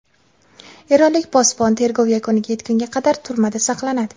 Eronlik posbon tergov yakuniga yetgunga qadar turmada saqlanadi.